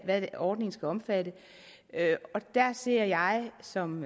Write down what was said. hvad ordningen skal omfatte og der anser jeg som